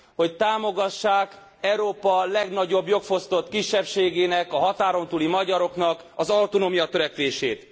hogy támogassák Európa legnagyobb jogfosztott kisebbségének, a határon túli magyaroknak az autonómiatörekvését.